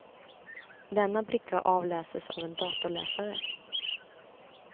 Denna bricka avläses av en datorläsare.